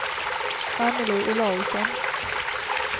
Annelie Olausson